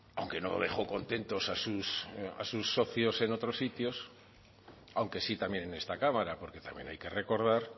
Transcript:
aunque no dejó contentos a sus socios en otros sitios aunque sí también en esta cámara porque también hay que recordar